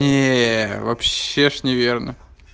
не вообще же не верно